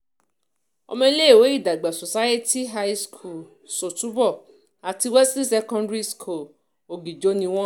ọmọléèwé ìdàgbà Society-High-School ṣọ́túbọ̀ àti Wesley-Secondary-School ọ̀gíjọ ni wọ́n